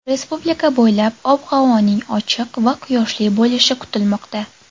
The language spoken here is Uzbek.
Respublika bo‘ylab ob-havoning ochiq va quyoshli bo‘lishi kutilmoqda.